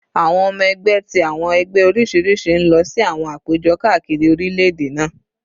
Awọn ọmọ ẹgbẹ ti awọn ẹgbẹ oriṣiriṣi n lọ si awọn apejọ kaakiri orilẹ-ede naa